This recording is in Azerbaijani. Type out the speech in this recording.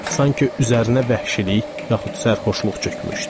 Sanki üzərinə vəhşilik, yaxud sərxoşluq çökmüşdü.